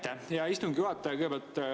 Aitäh, hea istungi juhataja!